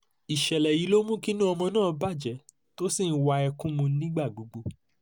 ìṣẹ̀lẹ̀ yìí ló mú kí inú ọmọ náà bàjẹ́ tó sì ń wa ẹkún mu nígbà gbogbo